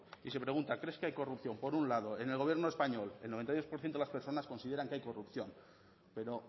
y se pregunta crees que hay corrupción por un lado en el gobierno español el noventa y dos por ciento de las personas consideran que hay corrupción pero